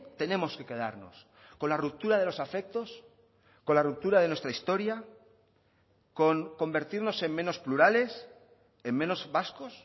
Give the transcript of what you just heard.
tenemos que quedarnos con la ruptura de los afectos con la ruptura de nuestra historia con convertirnos en menos plurales en menos vascos